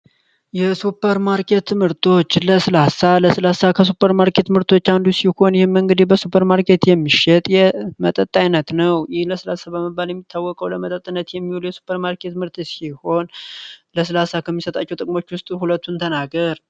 የሱፐርማርኬት ምርቶች ለስላሳ ለስላሳ ከሱፐር ማርኬት ምርቶች አንዱ ሲሆን ይሄን እንግዲ በሱፐርማርኬት የሚሸጥ የመጠጥ አይነት ነው ለስላሳ በመባል የሚታወቀው የሱፐር ማርኬት ምርት ሲሆን ለስላሳ ከሚሰጣቸው ጥቅሞች ውስጥ ሁለቱን ተናገር?